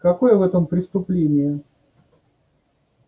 какое в этом преступление